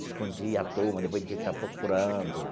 Se escondia a turma depois a gente tinha que estar procurando.